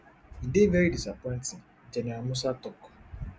e dey very disappointing gen musa tok